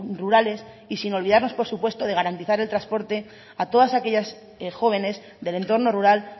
rurales y sin olvidarnos por supuesto de garantizar el transportes a todas aquellas jóvenes del entorno rural